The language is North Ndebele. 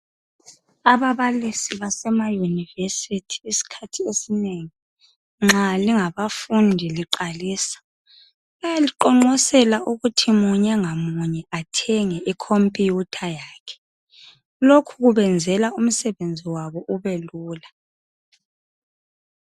Ababalisi basema university isikhathi esinengi nxa lingabafundi liqalisa bayaliqonqosela ukuthi munye ngamuye athenge i computer yakhe lokhu kubenzela umsebenzi wabo ubelula.